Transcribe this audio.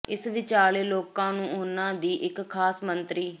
ਇਸ ਵਿਚਾਲੇ ਲੋਕਾਂ ਨੂੰ ਉਨ੍ਹਾਂ ਦੀ ਇਕ ਖਾਸ ਮੰਤਰੀ